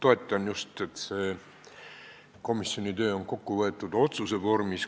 Mina just toetan seda, et komisjoni töö on kokku võetud otsuse vormis.